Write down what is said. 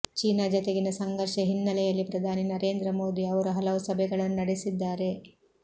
China ಜತೆಗಿನ ಸಂಘರ್ಷ ಹಿನ್ನೆಲೆಯಲ್ಲಿ ಪ್ರಧಾನಿ ನರೇಂದ್ರ ಮೋದಿ ಅವರು ಹಲವು ಸಭೆಗಳನ್ನು ನಡೆಸಿದ್ದಾರೆ